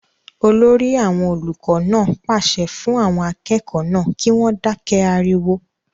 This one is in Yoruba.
olórí àwọn olùkọ náà pàṣẹ fún àwọn akẹ́kọ̀ọ́ náà kí wọ́n dákẹ́ ariwo